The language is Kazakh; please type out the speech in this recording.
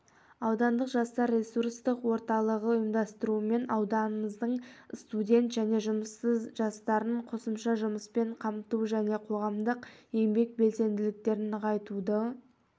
аудандық жастарресурстық орталығы ұйымдастыруымен аудынымыздың студент және жұмыссызжастарын қосымша жұмыспен қамту және қоғамдық еңбек белсенділіктерін нығайтуды